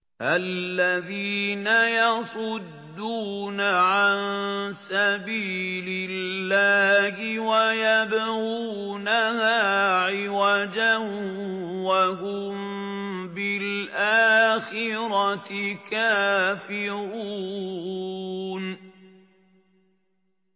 الَّذِينَ يَصُدُّونَ عَن سَبِيلِ اللَّهِ وَيَبْغُونَهَا عِوَجًا وَهُم بِالْآخِرَةِ كَافِرُونَ